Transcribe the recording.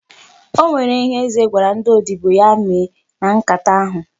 O nwere ihe Eze gwara ndị odibo ya mee na nkata ahụ.